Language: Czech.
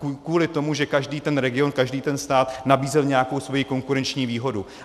Kvůli tomu, že každý ten region, každý ten stát nabízel nějakou svoji konkurenční výhodu.